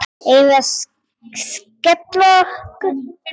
Eigum við að skella okkur?